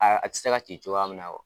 Aaa a tɛ se ka ci cogoya minɛ